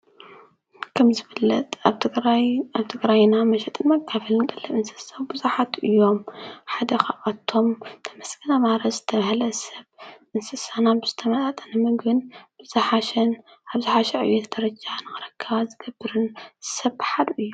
ከም ዝፍለጥ ኣብ ትግራይና መሸጥን መካፍልን ቀለብ እንስሳ ብዙኃት እዮም ሓደ ኻብቶም ተመስገን ኣማረ ዝተብሃለ ሰብ እንስሳና ብስተመጣጠንምግን ብዛሓሽን ኣብሽዕ እቤት ደረጃ ንወረካባ ዝገብርን ሰብኃድ እዩ።